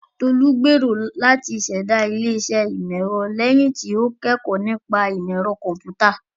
Tolu gbèrò láti ṣẹ̀dá ilé-iṣẹ́ ìmọ̀-ẹ̀rọ lẹ́yìn tí ó kẹ́kọ̀ọ́ nípa ìmọ̀ ẹ̀rọ kọ̀m̀pútà.